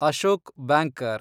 Ashok banker